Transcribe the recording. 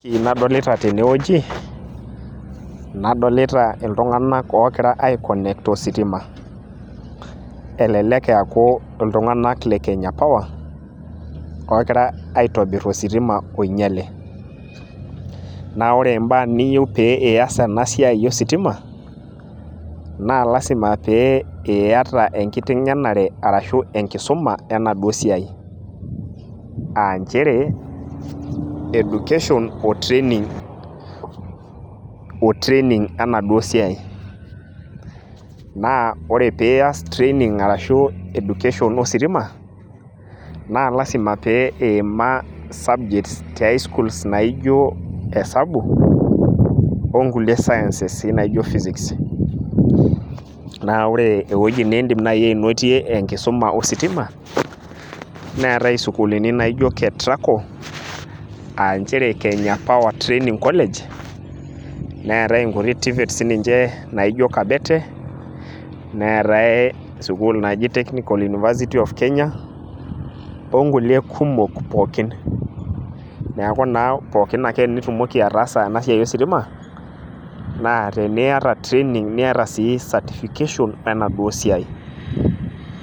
ore entoki nadolita tene wueji, nadolita iltunganak oogira ai connect ositima. naa elelek eeku iltunganak le kenya power, ogira aitobir ositima oing'iale. naa ore baa niyieu pee ias ena siai ositima naa lasima pee iyata enkitengenare arashu enkisuma enaduoo siai, aa nchere education o training enaduoo siai, naa ore pe ias training arashu education ositima, naa lasima pee iyiima subjects te highschool naijo esabu, onkulie sciences sii naijo physics. naa ore ewueji naaji nidim anotie enkisuma ositima neeta isukuulini naijo kentraco aa kenya power training college, neetae inkulie tvets naijo kabete neetae sukuul naji technical University of Kenya onkulie kumok pookin. neku naa pookin ake pee itumoki ataasa ena siai ositima naa teniata training o certification enaduoo siai.